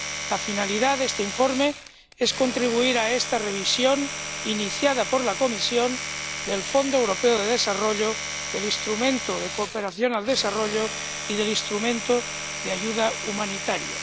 La finalidad de este informe es contribuir a esta revisión, iniciada por la Comisión, del Fondo Europeo de Desarrollo, del Instrumento de Cooperación al Desarrollo y del Instrumento de Ayuda Humanitaria.